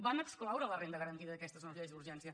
van excloure la renda garantida d’aquestes nou lleis d’urgència